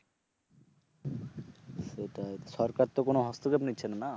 সেটাই সরকার তো কোন হস্তক্ষেপ নিচ্ছে না না